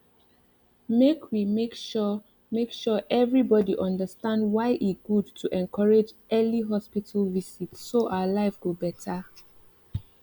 make we make sure make sure everybody understand why e good to encourage early hospital visit so our life go better